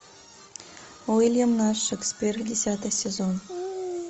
уильям наш шекспир десятый сезон